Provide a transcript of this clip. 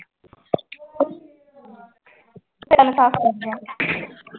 ਕੰਨ ਸਾਫ਼ ਕਰ ਜਾ